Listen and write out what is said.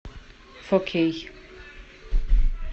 фо кей